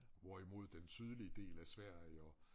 Hvorimod den sydlige del af Sverige og